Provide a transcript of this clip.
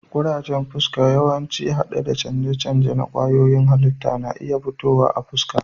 Kurajen fuska, yawanci hade da canje-canje na kwayoyin halitta, na iya fitowa a fuska.